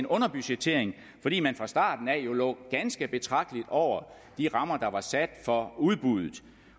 underbudgettering fordi man fra starten af jo lå ganske betragteligt over de rammer der var sat for udbuddet